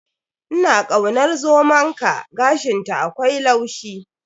Ina kaunar zomonka, gashinta akwai laushi.